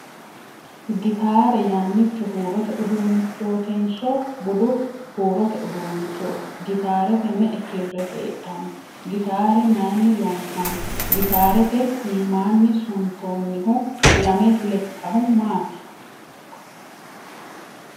Gitaarre yannicho huurote uduunnichootinso budu huurote uduunnichooti ? Gitaarete me'e kirre heedhanno ? Gitaare mayinni loonsanni ? Gitaarete iimmanni suntoonnihu lame lekkahu maati ?